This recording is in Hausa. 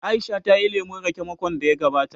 Aisha ta yi lemun raƙe makon da ya gabata